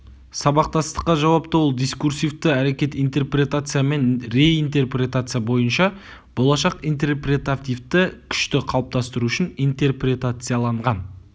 сабақтастыққа жауапты ол дискурсивті әрекет интерпретация мен реинтерпретация бойынша болашақ интерпретативті күшті қалыптастыру үшін интерпретацияланған